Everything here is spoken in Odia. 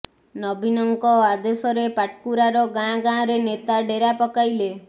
ନବୀନଙ୍କ ଆଦେଶରେ ପାଟକୁରାର ଗାଁ ଗାଁରେ ନେତା ଡେରା ପକାଇଲେ